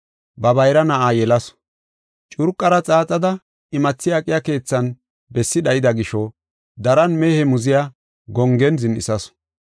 Ba bayra na7aa yelasu. Curqara xaaxada imathi aqiya keethan bessi dhayida gisho daran mehe muziya gongen zin7isasu.